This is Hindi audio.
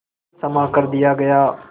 क्षमा कर दिया गया